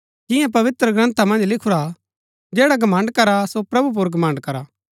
जियां पवित्रग्रन्था मन्ज लिखुरा हा जैडा घमण्ड़ करा सो प्रभु पुर घमण्ड़ करा